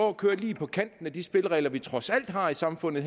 at køre lige på kanten af de spilleregler vi trods alt har i samfundet